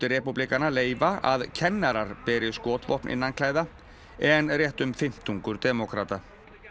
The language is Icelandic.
repúblikana leyfa að kennarar beri skotvopn innanklæða en rétt um fimmtungur demókrata